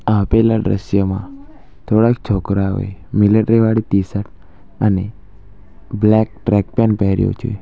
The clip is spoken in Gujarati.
આપેલા ડ્રશ્યમાં થોડાક છોકરાઓએ મિલેટ્રી વાળી ટી-શર્ટ અને બ્લેક ટ્રેક પેન્ટ પહેર્યુ છે.